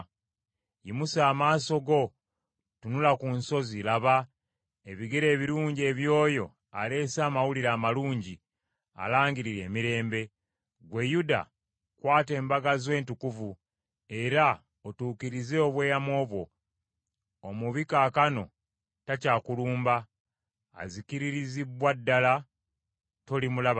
Yimusa amaaso, tunula ku nsozi, laba, ebigere ebirungi eby’oyo aleese amawulire amalungi, alangirira emirembe. Ggwe Yuda kwata embaga zo entukuvu, era otuukirize obweyamo bwo; omubi kaakano takyakulumba, azikiririzibbwa ddala, tolimulaba nate.